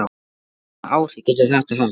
Sunna: Hvaða áhrif getur þetta haft?